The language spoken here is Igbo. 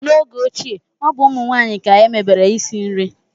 n'oge ochie, ọ bụ ụmụ nwanyị ka emebere isi nri